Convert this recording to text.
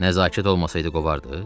Nəzakət olmasaydı qovardıız?